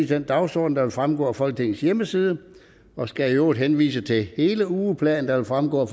den dagsorden der vil fremgå af folketingets hjemmeside og skal i øvrigt henvise til hele ugeplanen der vil fremgå af